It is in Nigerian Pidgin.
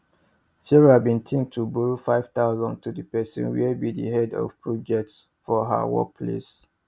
sarah bin dey think to borrow 5000 to the person where be the head of projects for her work place